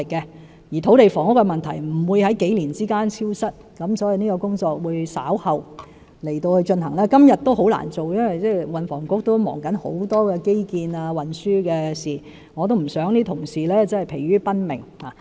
再者，土地房屋問題不會在數年間消失，所以這項工作會稍後進行，而今天也很難做到，因為運房局正忙於很多基建及運輸的事務，我不想同事疲於奔命。